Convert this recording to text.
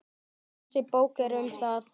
Þessi bók er um það.